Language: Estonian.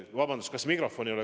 Vabandust!